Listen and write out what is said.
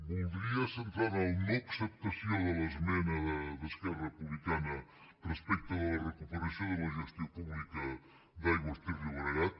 voldria centrar me en la no acceptació de l’esmena d’esquerra republicana respecte de la recuperació de la gestió pública d’aigües ter llobregat